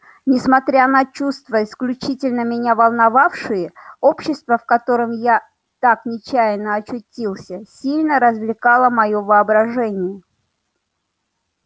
несмотря на чувства исключительно меня волновавшие общество в котором я так нечаянно очутился сильно развлекало моё воображение